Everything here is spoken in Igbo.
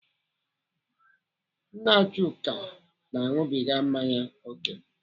Nna Chuka na-aṅụgịbịga mmanya ókè.